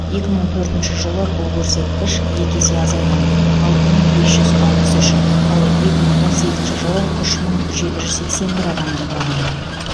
екі мың төртінші жылы бұл көрсеткіш екі есе азайған алты мың бес жүз алпыс үш ал екі мың он сегізінші жылы үш мың жеті жүз сексен бір адамды құраған